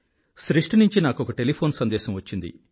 సృష్టి నుండి నాకొక టేలీఫోన్ సందేశం వచ్చింది